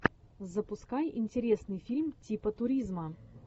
запускай интересный фильм типа туризма